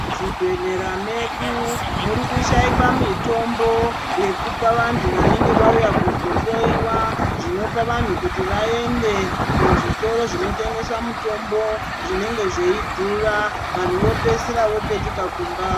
Muzvibhehlera medu murikushaikwa mitombo yekupa vantu vanenge vauya kuzohloyiwa. Zvinopa vanhu kuti vaende kuzvitoro zvinotengesa mutombo, zvinenge zveidhura, vanhu vopedzisira vopetuka kumba.